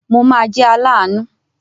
Mo máa jẹ́ aláàánú.